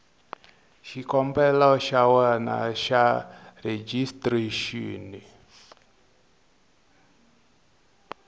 xikombelo xa wena xa rejistrexini